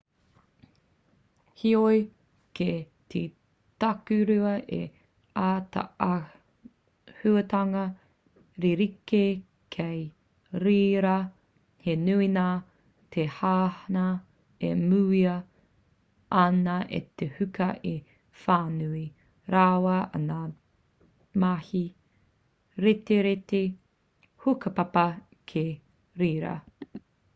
heoi kei te takurua he ātaahuatanga rerekē kei reira he nui ngā teihana e mūia ana e te huka i whānui rawa ai ngā mahi retireti hukapapa ki reira